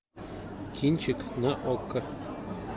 кинчик на окко